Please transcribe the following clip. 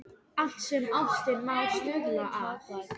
Allt sem ástin má stuðla að.